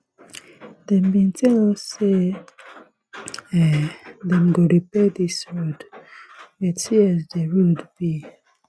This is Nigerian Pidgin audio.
dem bin tell us sey um dem go repair dis road but see as di road be